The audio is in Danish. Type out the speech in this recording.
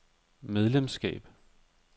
medlemskab